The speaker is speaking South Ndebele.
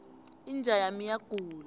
inja yami iyagula